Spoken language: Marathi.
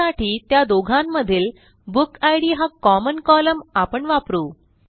त्यासाठी त्या दोघांमधील बुकिड हा कॉमन कोलम्न आपण वापरू